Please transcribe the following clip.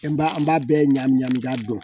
An b'a an b'a bɛɛ ɲagami ɲagami a dɔn